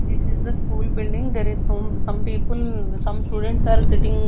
this is the school building there is some some people some students are sitting.